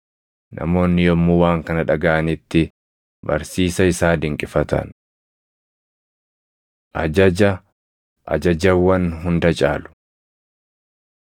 Namoonni yommuu waan kana dhagaʼanitti, barsiisa isaa dinqifatan. Ajaja Ajajawwan Hunda Caalu 22:34‑40 kwf – Mar 12:28‑31